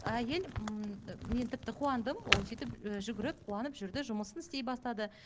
әйел ммм мен тіпті қуандым ол сөйтіп жүгіріп қуанып жүрді жұмысын істей бастады